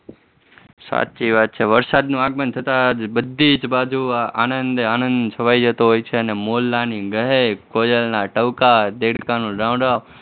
સાચી વાત છે વરસાદનું આગમન થતા જ બધી જ બાજુ આનંદે આનંદ છવાઈ જતો હોય છે અને મોરલાની ગહેક, કોયલના ટહુકા, દેડકાનું ડ્રાંઉં ડ્રાંઉં